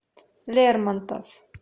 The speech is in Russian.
лермонтов